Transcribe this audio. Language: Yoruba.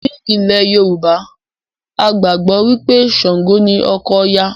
Ní ilẹ̀ Yorùbá, a gbàgbọ́ wí pé Ṣàǹgò ni ọkọ Òya